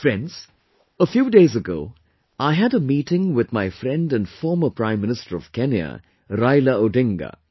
Friends, A few days ago I had a meeting with my friend and former Prime Minister of Kenya, Raila Odinga